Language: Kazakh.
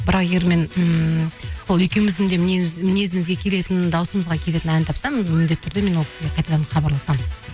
бірақ егер мен ммм сол екеуіміздің де мінезімізге келетін дауысымызға келетін ән тапсам міндетті түрде мен ол кісіге қайтадан хабарласамын